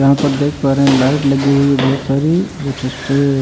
यहाँ पर देख पा रहे हैं लाइट लगी हुई है बहुत सारी जो जिससे --